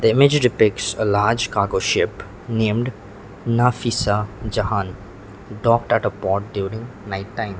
the image depicts a large cargo ship named nafisa jahan docked at a port during night time.